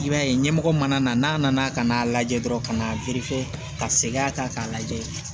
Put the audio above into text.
I b'a ye ɲɛmɔgɔ mana na n'a nana ka n'a lajɛ dɔrɔn ka na ka segin a kan k'a lajɛ